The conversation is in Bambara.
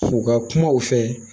U ka kuma u fɛ